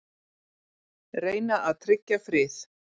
Reyna að tryggja frið